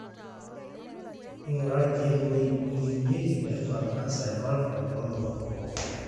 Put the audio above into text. ingura ilkeek oimieki pebaak cancer evulva to lomon kumok